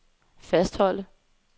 fastholde